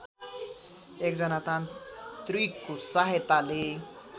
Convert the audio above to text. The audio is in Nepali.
एकजना तान्त्रिकको सहायताले